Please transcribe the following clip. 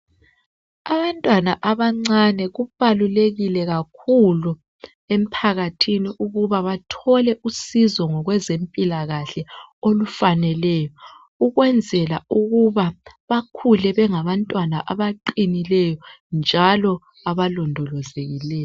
Abantwana abancane kubalulekile kakhulu emphakathini ukuba bathole usizo ngokwezempilakahle olufaneleyo ukwenzela ukuba bakhule bengabantwana abaqinileyo njalo abalondolozekileyo.